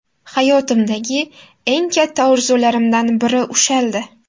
Hayotimdagi eng katta orzularimdan biri ushaldi.